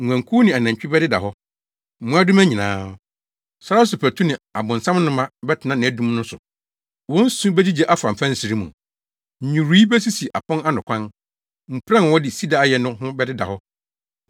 Nguankuw ne anantwi bɛdeda hɔ, mmoadoma nyinaa. Sare so patu ne abonsamnoma bɛtena nʼadum no so. Wɔn su begyigye afa mfɛnsere mu, nnwiriwii besisiw apon ano akwan, mpuran a wɔde sida ayɛ no ho bɛdeda hɔ.